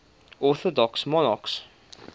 orthodox monarchs